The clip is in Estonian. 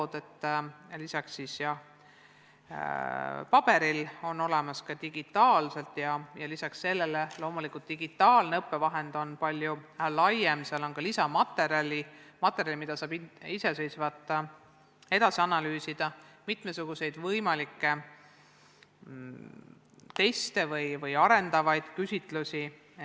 Peale paberil õpikute on olemas digitaalsed õppevahendid ja neis on ka lisamaterjali, mida saab iseseisvalt edasi analüüsida, samuti on mitmesuguseid teste ja arendavaid küsitlusi.